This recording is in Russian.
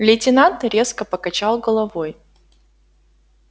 лейтенант резко покачал головой